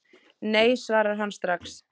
Nei svarar hann strax.